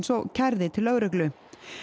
og kærði til lögreglu